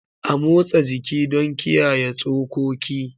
A motsa jiki don kiyaye tsokoki.